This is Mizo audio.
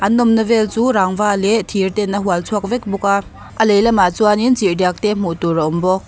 an awmna vel chu rangva leh thir ten a hual chhuak vek bawk a a lehlamah chuanin chirhdiak te hmuh tur a awm bawk.